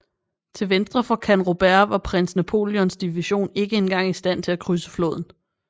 Til venstre for Canrobert var Prins Napoleons division ikke engang i stand til at krydse floden